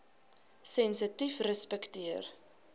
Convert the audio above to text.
sensitiefrespekteer